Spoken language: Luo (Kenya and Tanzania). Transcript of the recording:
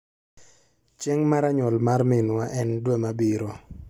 Chieng' mara nyuol mar minwa e dwe mabiro